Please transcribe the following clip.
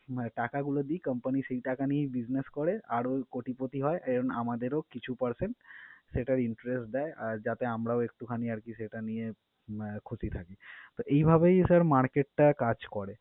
মানে টাকাগুলো দিই company সেই টাকা নিয়েই business করে আর ওই কোটিপতি হয়। এজন্য আমাদেরও কিছু percent সেটার interest দেয় আর যাতে আমরাও একটুখানি আরকি সেটা নিয়ে আহ খুশি থাকি। তো, এইভাবেই sir market টা কাজ করে।